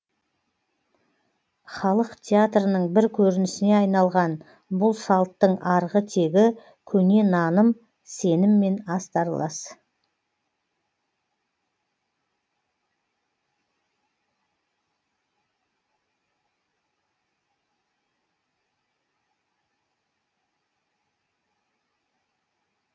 халық театрының бір көрінісіне айналған бұл салттың арғы тегі көне наным сеніммен астарлас